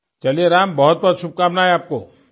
चलिए राम बहुतबहुत शुभकामनाएं आपको